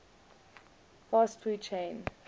fast food chain